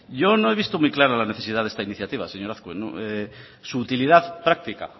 yo no he visto muy clara la necesidad de esta iniciativa señor azkue su utilidad práctica